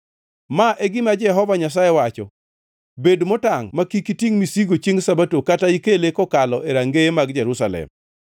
Ma e gima Jehova Nyasaye wacho: Bed motangʼ ma kik itingʼ misigo chiengʼ Sabato kata ikele kokalo e rangeye mag Jerusalem.